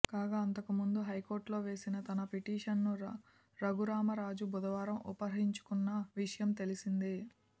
కాగా అంతకుముందు హైకోర్టులో వేసిన తన పిటిషన్ను రఘురామ రాజు బుధవారం ఉపసంహరించుకున్న విషయం తెలిసిందే